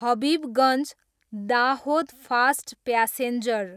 Habibganj, Dahod fast passenger